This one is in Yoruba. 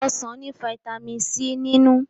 Ọsán ní vitamin C nínú.